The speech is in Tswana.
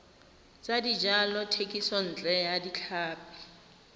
tsa dijalo thekisontle ya tlhapi